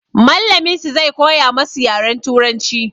Mallamin su zai koya masu yaren turanci.